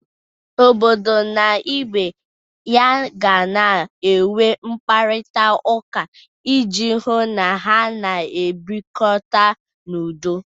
Obodo na ibe ya ga na-enwe mkparịtaụka iji hụ na ha na-ebirikọta n'udo.